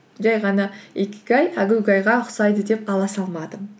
жай ғана икигай әгугайға ұқсайды деп ала салмадым